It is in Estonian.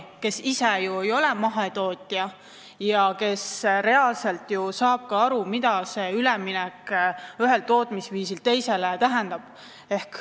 Ta ise ei ole ju mahetootja ja saab reaalselt aru, mida see üleminek ühelt tootmisviisilt teisele tähendab.